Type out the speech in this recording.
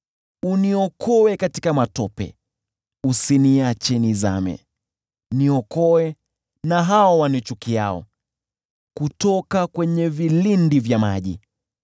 Uniokoe katika matope, usiniache nizame; niokoe na hao wanichukiao, kutoka kwenye vilindi vya maji.